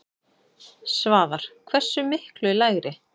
Svavar: Hversu miklu lægri?